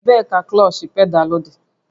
Ebee ka klọọchị pedaalụ dị?